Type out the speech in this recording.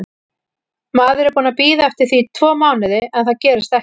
Maður er búinn að bíða eftir því tvo mánuði en það gerist ekki.